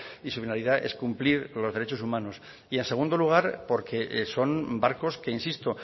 y su finalidad es cumplir los derechos humanos y en segundo lugar porque son barcos que insisto